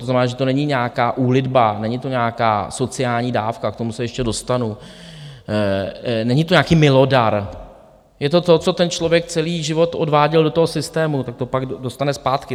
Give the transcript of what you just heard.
To znamená, že to není nějaká úlitba, není to nějaká sociální dávka, k tomu se ještě dostanu, není to nějaký milodar, je to to, co ten člověk celý život odváděl do toho systému, tak to pak dostane zpátky.